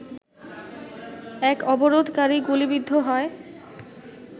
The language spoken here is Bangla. এক অবরোধকারী গুলিবিদ্ধ হয